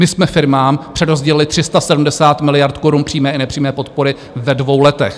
My jsme firmám přerozdělili 370 miliard korun přímé i nepřímé podpory ve dvou letech.